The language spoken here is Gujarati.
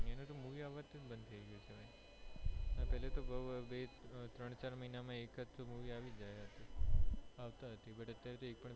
એને તો movie આવાનીજ બંધ થઇ ગઈ છે પેહલા તો ત્રણ ચાર મહિના માં એ movie આવતીજ હતી અત્યારે તો એક પણ